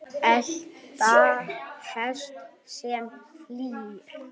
elta hest sem flýr